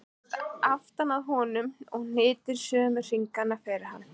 Hún læðist aftan að honum og hnitar sömu hringina og hann.